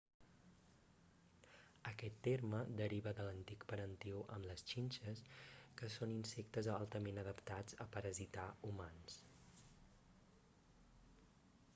aquest terme deriva de l'antic parentiu amb les xinxes que són insectes altament adaptats a parasitar humans